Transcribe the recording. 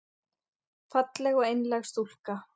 Falleg og einlæg stúlka.